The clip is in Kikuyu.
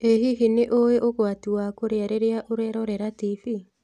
Ĩ hihi nĩũĩ ũgwati wa kũrĩa rĩrĩa ũrerorera tibii?